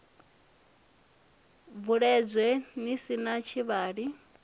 bvuledze ni si na tshilavhi